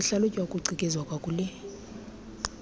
sihlalutya ucikizwa kwakule